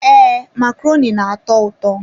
Ee, macaroni na-atọ ụtọ.